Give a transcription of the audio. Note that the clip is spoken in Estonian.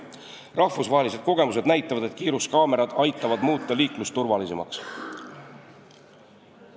Rahvusvahelised kogemused näitavad, et kiiruskaamerad aitavad muuta liiklust turvalisemaks.